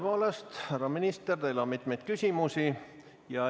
Tõepoolest, härra minister, teile on mitmeid küsimusi.